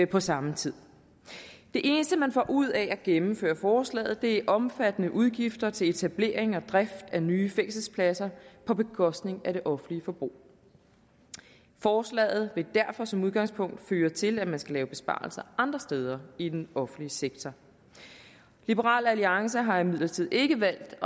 på samme tid det eneste man får ud af at gennemføre forslaget er omfattende udgifter til etablering og drift af nye fængselspladser på bekostning af det offentlige forbrug forslaget vil derfor som udgangspunkt føre til at man skal lave besparelser andre steder i den offentlige sektor liberal alliance har imidlertid ikke valgt